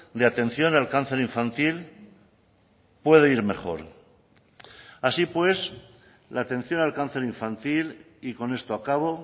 de atención al cáncer infantil puede ir mejor así pues la atención al cáncer infantil y con esto acabo